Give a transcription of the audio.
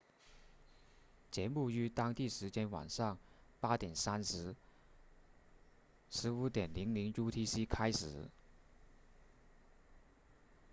节目于当地时间晚上 8:30 15.00 utc 开始